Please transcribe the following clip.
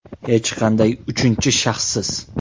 Hech qanday uchinchi shaxssiz!